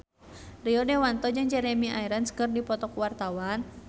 Rio Dewanto jeung Jeremy Irons keur dipoto ku wartawan